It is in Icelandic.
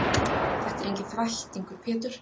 Þetta er enginn þvættingur Pétur.